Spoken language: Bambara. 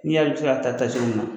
N' y'a i bɛ se ka taa taa cogo min na.